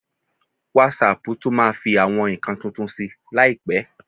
Wásaàpù tún máa fi àwọn nǹkan tuntun sí i láìpẹ́.